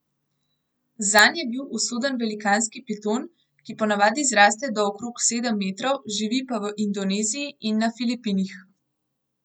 Zanj je bil usoden velikanski piton, ki ponavadi zraste do okrog sedem metrov, živi pa v Indoneziji in na Filipinih.